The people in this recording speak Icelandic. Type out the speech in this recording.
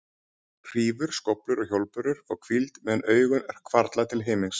Hrífur, skóflur og hjólbörur fá hvíld meðan augun hvarfla til himins.